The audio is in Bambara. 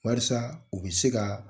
Walasa u bɛ se ka